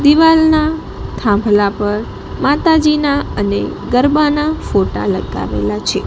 દિવાલ નાં થાંભલા પર માતાજીના અને ગરબાનાં ફોટા લગાવેલા છે.